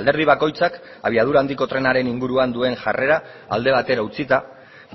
alderdi bakoitzak abiadura handiko trenaren inguruan duen jarrera alde batera utzita